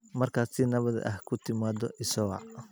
Markaad si nabad ah ku timaado, isoo wac.